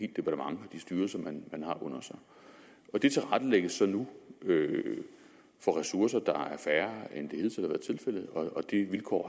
departement og de styrelser man har under sig og det tilrettelægges så nu for ressourcer der er færre end det hidtil har været tilfældet og de vilkår